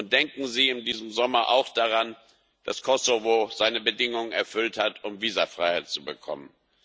Und denken Sie in diesem Sommer auch daran, dass Kosovo seine Bedingungen erfüllt hat, um Visafreiheit zu bekommen.